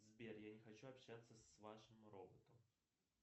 сбер я не хочу общаться с вашим роботом